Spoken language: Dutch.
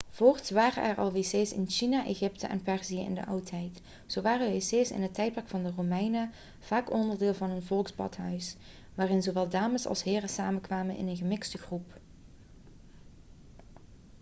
voorts waren er al wc's in china egypte en perzië in de oudheid zo waren wc's in het tijdperk van de romeinen vaak onderdeel van een volksbadhuis waarin zowel dames als heren samenkwamen in een gemixte groep